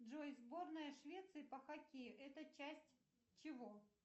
джой сборная швеции по хоккею это часть чего